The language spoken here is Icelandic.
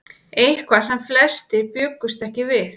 Eitthvað sem flestir bjuggust ekki við